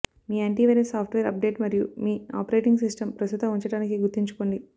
మీ antivirus software update మరియు మీ operating system ప్రస్తుత ఉంచడానికి గుర్తుంచుకోండి